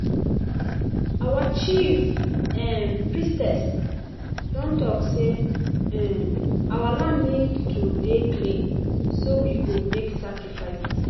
Our chief um Priestess don talk say um our land need to dey clean so we go make sacrifices